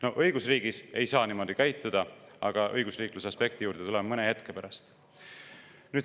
No õigusriigis ei saa niimoodi käituda, aga õigusriikluse aspekti juurde tuleme mõne hetke pärast.